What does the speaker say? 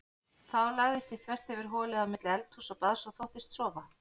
Þá lagðist ég þvert yfir holið á milli eldhúss og baðs og þóttist sofa.